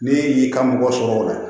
Ne y'i ka mɔgɔ sɔrɔ o la